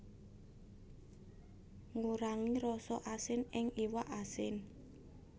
Ngurangi rasa asin ing iwak asin